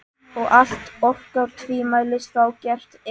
Og allt orkar tvímælis þá gert er.